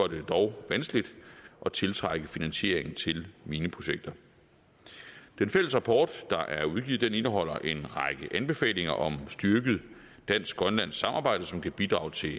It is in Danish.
det dog vanskeligt at tiltrække finansiering til mineprojekter den fælles rapport der er udgivet indeholder en række anbefalinger om et styrket dansk grønlandsk samarbejde som kan bidrage til